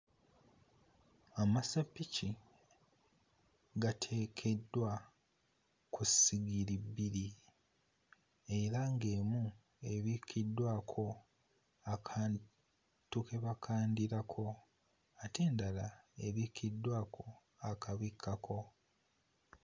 Amaseppiki gateekeddwa ku ssigiri bbiri. Era ng'emu ebikkiddwako akantu ke bakandirako, ate endala ebikkiddwako akabikkako.